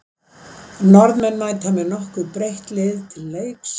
Norðmenn mæta með nokkuð breytt lið til leiks.